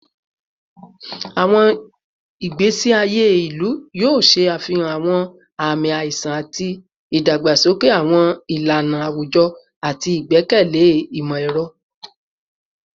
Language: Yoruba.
Awọn igbesi aye ilu yoo ṣe afihan awọn aami aiṣan ti idagbasoke awọn ilana awujọ ati igbẹkẹle imọ-ẹrọ